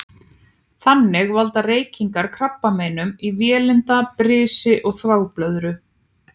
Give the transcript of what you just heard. Þannig valda reykingar krabbameinum í vélinda, brisi og þvagblöðru.